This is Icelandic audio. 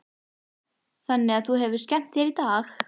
Þannig að þú hefur skemmt þér í dag?